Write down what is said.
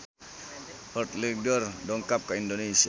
Heath Ledger dongkap ka Indonesia